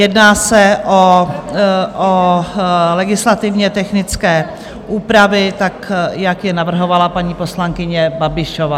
Jedná se o legislativně technické úpravy, tak jak je navrhovala paní poslankyně Babišová.